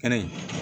Kɛnɛ in